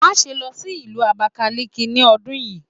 Maṣe lọ si Ìlú Abakaliki ni ọdun yii!